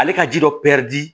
Ale ka ji dɔ di